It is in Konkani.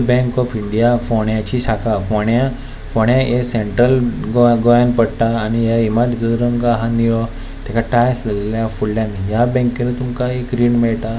बँक ऑफ इंडिया फोण्याची शाखा फोण्या फोण्या ये सेंट्रल गोय गोयान पडटा आनी ये इमारतीचो रंग आहा नीळो तेका टाईल्स लायलेले आहा फुडल्यान ह्या बॅंके नुय तुमका एक रीण मेळटा.